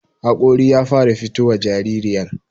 haƙori ya fara fitowa jaririyar